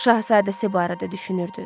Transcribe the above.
Şahzadəsi barədə düşünürdü.